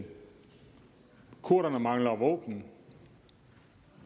kurderne mangler våben